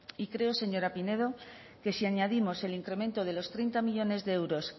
y creo señora pineda que si añadimos el incremento de los treinta millónes de euros